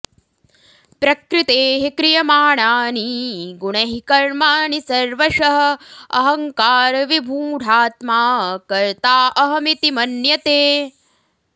प्रकृतेः क्रियमाणानि गुणैः कर्माणि सर्वशः अहङ्कारविमूढात्मा कर्ता अहम् इति मन्यते